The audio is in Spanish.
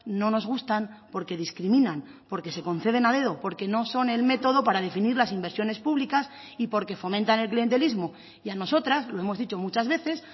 no nos gustan porque discriminan porque se conceden a dedo porque no son el método para definir las inversiones públicas y porque fomentan el clientelismo y a nosotras lo hemos dicho muchas veces